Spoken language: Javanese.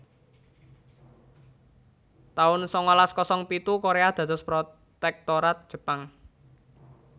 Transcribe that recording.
taun sangalas kosong pitu Korea dados protektorat Jepang